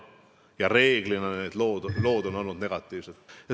Reeglina need lood on olnud negatiivsed.